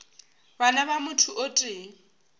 bana ba motho o tee